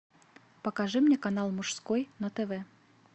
покажи мне канал мужской на тв